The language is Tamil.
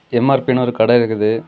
எம்_ஆர்_பி ன்னு ஒரு கடை இருக்குது.